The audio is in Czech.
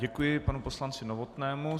Děkuji panu poslanci Novotnému.